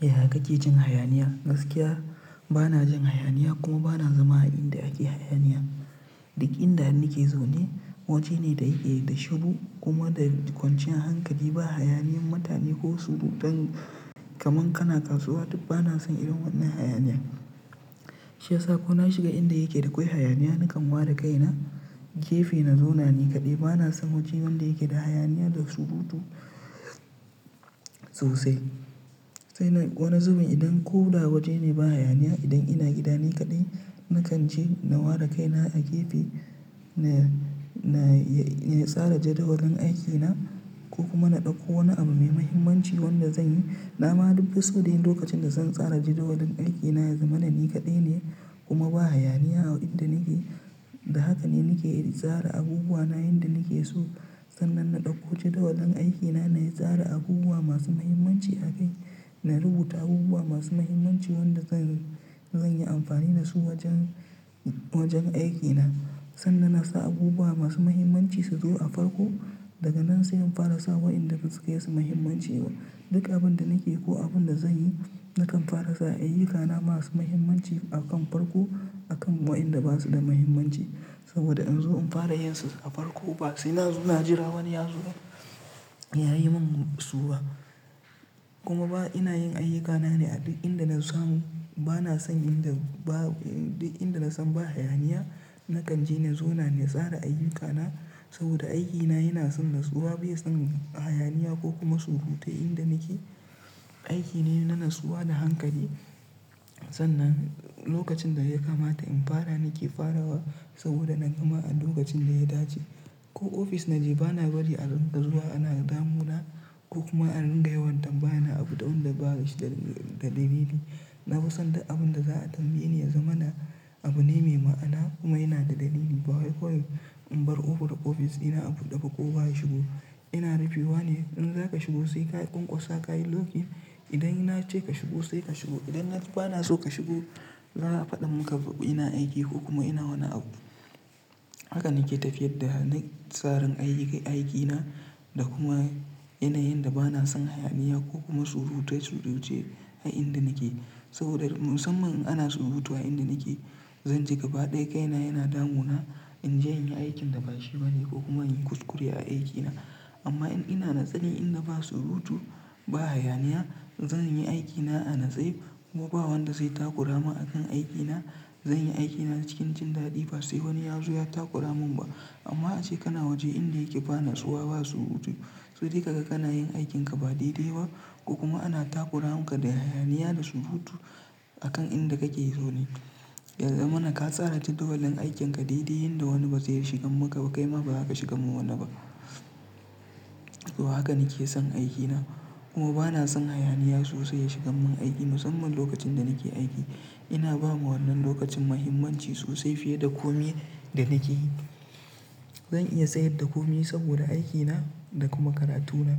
Yaya kake cin hayaniya? Gaskiya bana jin hayaniya kuma bana zama a inda ake hayaniya. Dukkan inda nake zaune waje ne da yike da shiruu kuma da kwancin hankali ba hayaniyan mutane ko surutan kamar kana kasuwa duk bana son irin wannan hayaniya. Shi ya sa ko na shiga inda yake da kwai hayaniya nakan ware kaina gefe na zauna nikaɗai. Bana son waje wanda yake da hayaniya da surutu sosai. Sai na wani zubin idan ko da waje ne ba hayaniya idan ina gida nikaɗai na kan je na ware kaina a gefe na, na, ya, ya tsara jadawalin aikina ko kuma na ɗauko wani abu mai mahimmanci wanda zan yi. Na ma duk fiso dai lokacin da zan tsara jadawalin aikina ya zama na nikaɗai ne kuma ba hayaniya a inda nake. Da haka ne nake tsara abubuwa na yanda nake so. Sannan na ɗauko jadawalin aikina na yi tsara abubuwa masu mahimmanci a kai. Na rubuta abubuwa masu mahimmanci wanda zan, zan yi amfani da su wajen, wajen aikina. Sannan na sa abubuwa masu mahimmanci su zo a farko. Daga nan sai in fara sa waɗanda basu kaisu muhimmanci ba. Duka abin da nake ko abin da zan yi na kan fara sa ayyukana masu mahimmanci a kan farko a kan waɗanda ba su da mahimmanci. Saboda in zo in fara yinsa a farko ba sai na zo na jira wani ya zo ya yi min su ba. Kuma ba ina yin ayyukana ne a duk inda na samu. Bana son inda ba duk inda na san ba hayaniya na kan je na zauna na tsara ayyukana saboda aikina yana son natsuwa bai son hayaniya ko kuma surutai inda nake. Aiki ne na natsuwa da hankali. Sannan lokacin da ya kamata in fara nake farawa saboda na gama a lokacin da ya dace. Ko ofis na je bana bari arinka zuwa ana damuna ko kuma a runga yawan tambaya na abu da wanda ba shi da, da dalili. Na fi son duk abin da za a tambaye ni ya zama na abu ne mai ma'ana kuma yana da dalili. Ba wai kawai in bar kofar da ofisina abuɗe ba kowa ya shigo. Ina rufewa ne. Idan za ka shigo sai ka ƙanƙosa ka yi lok in. Idan nace ka shigo sai ka shigo. Idan na bana so ka shigo, za a faɗa mun ka ina aiki ko kuma ina wani abu. Haka nake tafiyar da na tsarin ayyi, aikina da kuma yanayinda bana son hayaniya ko kuma surutai suruce a inda nake. Saboda musamman in ana surutu a inda nake, zan ji gaba ɗaya kaina yana damuna in je in yi aikin da ba shi bane ko kuma in yi kuskure a aikina. Amma in ina natseni inda ba surutu, ba hayaniya, zan yi aikina a natse kuma ba wanda zai takuramun akan aikina. Zan yi aikina cikin jin daɗi ba sai wani ya zo ya takura mun ba. Amma ace kana waje inda yake bana tsuwa ba surutu. To dai kaga kana yin aikinka ba daidai ba ko kuma ana takura maka da hayaniya da surutu a kan inda kake zaune. Yaazamana ka tsara jadawalin aikinka daidai yanda wani ba zai iya shigan maka ba kaima ba zaka shigan ma wani ba. To haka nake son aikina kuma bana son hayaniya sosai ya shigan mun aiki. Musamman lokacin da nake aiki ina ba ma wannan lokacin mahimmanci sosai fiye da komai da nake yi. Zan iya sayar da komai saboda aikina da kuma karatuna.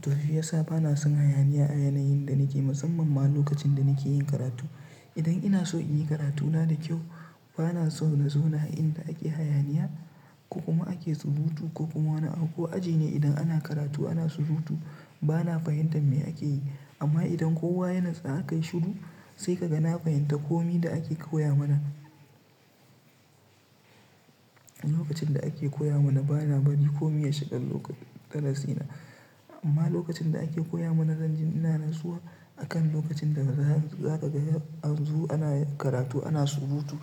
To shi ya sa bana son hayaniya a yanayin da nake musamman ma lokacin da nake yin karatu. Idan ina so in yi karatuna da kyau bana so na zauna a inda ake hayaniya ko kuma ake surutu ko kuma wani abu ko aji ne idan ana karatu ana surutu bana fahimtar me ake yi. Amma idan kowa ya natsu aka yi shiru sai kaga na fahimta komai da ake koya mana. Lokacin da ake koya mana bana bari komi ya shiga lokacin darasina. Amma lokacin da ake koya mana zan ji ina natsuwa a kan lokacin da za, za ka ga anzo ana karatu ana surutu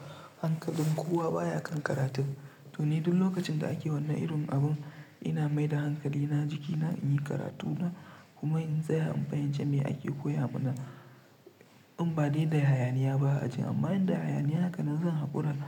hankalin kowa baya kan karatun. To ni duk lokacin da ake wanna irin abu ina mai da hankalina jikina in yi karatuna kuma in tsaya in fahimci me ake koya mana. In ba dai da hayaniya ba a ajin amma in da hayaniya haka na zan haƙura na.